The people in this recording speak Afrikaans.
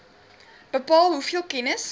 bepaal hoeveel kennis